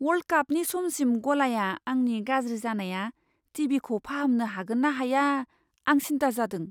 World कापनि समसिम गलाया आंनि गाज्रि जानाय टि. भि. खौ फाहामनो हागोन ना हाया, आं सिन्था जादों।